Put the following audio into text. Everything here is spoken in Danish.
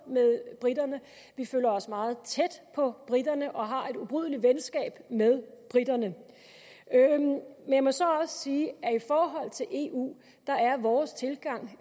med briterne vi føler os meget tæt på briterne og har et ubrydeligt venskab med briterne men jeg må så også sige at i forhold til eu er vores tilgang